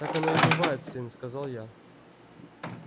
так оно и бывает сын сказал я